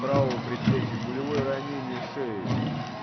правого предплечья пулевое ранение шеи